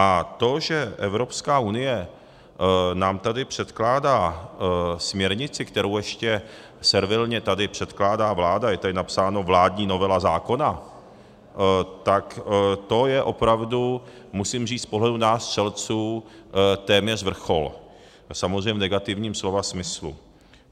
A to, že Evropská unie nám tady předkládá směrnici, kterou ještě servilně tady předkládá vláda - je tady napsáno vládní novela zákona - tak to je opravdu, musím říct, z pohledu nás střelců téměř vrchol, samozřejmě v negativním slova smyslu.